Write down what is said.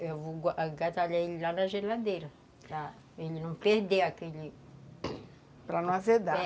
Eu vou agasalhar ele lá na geladeira, para ele não perder aquele... Para não azedar. É.